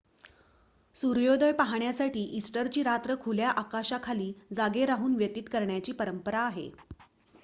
सूर्योदय पहाण्यासाठी इस्टरची रात्र खुल्या आकाशाखाली जागे राहून व्यतीत करण्याची परंपरा आहे